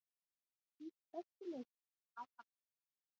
Hans besti leikur í langan tíma.